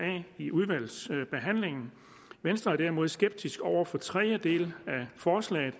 i udvalgsbehandlingen venstre er derimod skeptisk over for den tredje del af forslaget